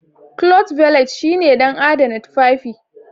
Cloth Valet shine don adana tufafi.